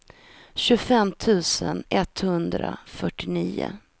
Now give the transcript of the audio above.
tjugofem tusen etthundrafyrtionio